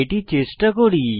এটি চেষ্টা করি